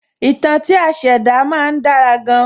Ìtàn tí a ṣẹ̀dá má ń dára gan-an